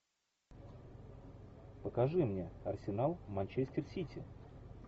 покажи мне арсенал манчестер сити